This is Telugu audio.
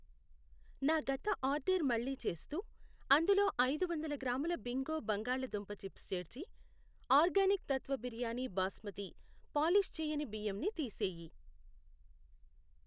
నా గత ఆర్డర్ మళ్ళీ చేస్తూ అందులో ఐదు వందల గ్రాముల బింగో బంగాళాదుంప చిప్స్ చేర్చి ఆర్గానిక్ తత్వ బిర్యానీ బాస్మతి పాలిష్ చెయ్యని బియ్యం ని తీసేయి. .